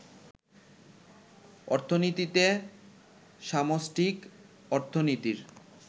অর্থনীতিতে সামষ্টিক অর্থনীতির